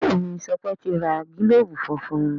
Béèni Sope ti rà gilobu fúnfún.